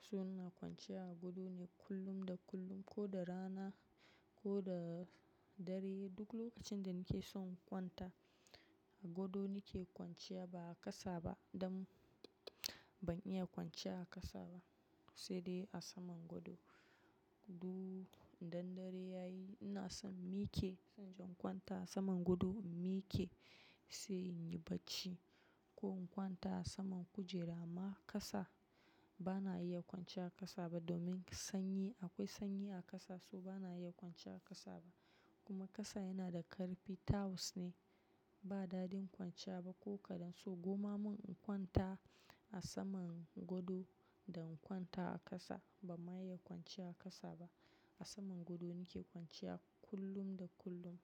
So ina kwanciya a godo ne kullum da kullum ko da rana ko da dare. Duk lokacin da nake so in kwanta a godo nake kwanciya ba a ƙasa ba. Dan ban iya kwanciya a ƙasa ba sai dai a saman godo. Dun dandare yayi, ina son miye ke. Inje in kwanta a saman godo in mike sai inyi bacci. Ko in kwanta a saman kujera ma ƙasa bana iya kwanciya a ƙasa ba domin sanyi. Akwai sanyi a ƙasa so bana iya kwanciya a ƙasa ba. Kuma ƙasan yana da ƙarfin, tiles ne ba dadin kwanciya ba ko kaɗan. So koma mun kwanta a saman godo da in kwanta a ƙasa, ban ma iya kwanciya a ƙasa ba. A saman godo nake kwanciya kullum da kullum.